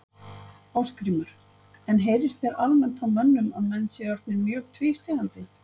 Ásgrímur: En heyrist þér almennt á mönnum að menn séu orðnir mjög tvístígandi?